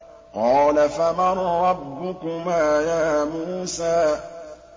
قَالَ فَمَن رَّبُّكُمَا يَا مُوسَىٰ